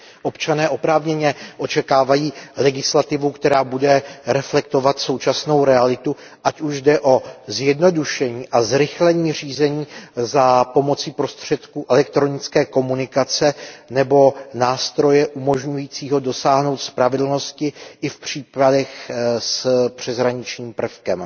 Občané oprávněně očekávají legislativu, která bude reflektovat současnou realitu, ať už jde o zjednodušení a zrychlení řízení za pomoci prostředků elektronické komunikace nebo nástroje umožňujícího dosáhnout spravedlnosti i v případech s přeshraničním prvkem.